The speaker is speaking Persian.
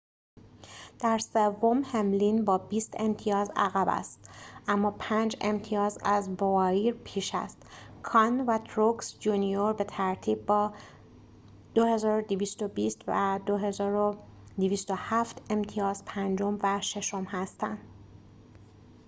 در سوم هملین با بیست امتیاز عقب است اما پنج امتیاز از بوایر پیش است کان و تروکس جونیور به ترتیب با ۲۲۲۰ و ۲۲۰۷ امتیاز پنجم و ششم هستند